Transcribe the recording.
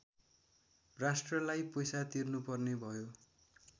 राष्ट्रलाई पैसा तिर्नुपर्ने भयो